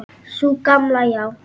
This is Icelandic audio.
Sú gamla, já.